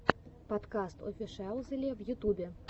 подкаст офишиалзеле в ютубе